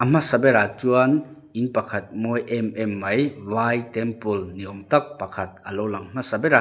a hmasa berah chuan in pakhat mawi em em mai vai temple ni awm tak pakhat alo lang hmasa ber a m--